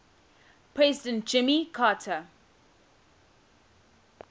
president jimmy carter